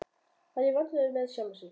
Hann var í vandræðum með sjálfan sig.